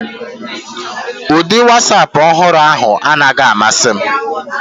Ụdị Wasapu ọhụrụ ahụ anaghị amasị m